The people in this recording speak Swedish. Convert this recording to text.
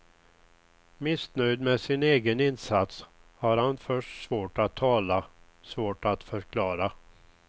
Missnöjd med sin egen insats har han först svårt att tala, svårt att förklara.